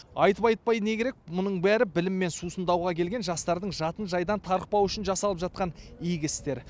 айтып айтпай не керек мұның бәрі біліммен сусындауға келген жастардың жатын жайдан тарықпауы үшін жасалып жатқан игі істер